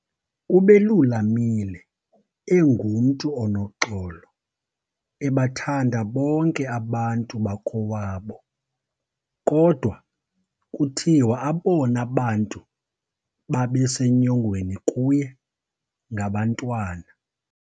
Ubelulamile, engumntu onoxolo ebathanda bonke abantu bakowabo, kodwa kuthiwa abona bantu babesenyongweni kuye ngabantwana.